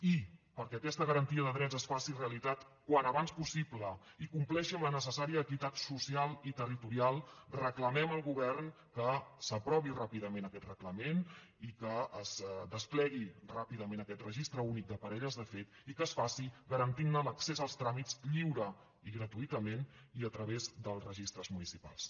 i perquè aquesta garantia de drets es faci realitat quan abans possible i compleixi amb la necessària equitat social i territorial reclamem al govern que s’aprovi ràpidament aquest reglament i que es desplegui ràpidament aquest registre únic de parelles de fet i que es faci garantint ne l’accés als tràmits lliure i gratuïtament i a través dels registres municipals